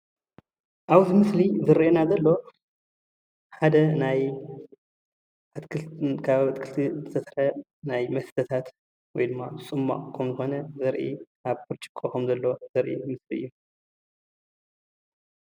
ኣብዚ ምስሊ ዝርአየና ዘሎ ሓደ ናይ ካብ ኣትክልቲ ዝተሰርሐ ናይ መስተታት ወይ ድማ ፅሟቅ ከም ዝኾነ ኣብ ብርጭቆ ከሞ ዘሎ ዘርኢ እዩ።